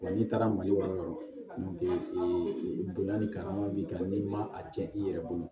Wa n'i taara mali warɔ ee bonya ni karama b'i kan n'i ma a cɛn i yɛrɛ bolo